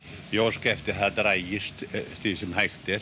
ég óska eftir að það dragist sem hægt er